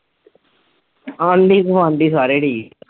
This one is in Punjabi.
ਆਂਢੀ ਗੁਆਂਢੀ ਸਾਰੇ ਠੀਕ।